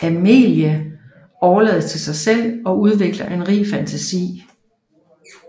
Amélie overlades til sig selv og udvikler en rig fantasi